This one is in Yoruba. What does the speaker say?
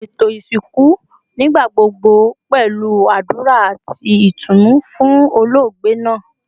Eto isinku nigbagbogbo pẹlu adura ati itunu fun ologbe naa